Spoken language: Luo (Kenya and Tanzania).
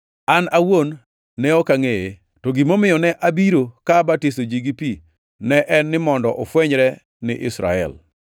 An awuon ne ok angʼeye, to gimomiyo ne abiro ka abatiso ji gi pi ne en mondo ofwenyre ni Israel.”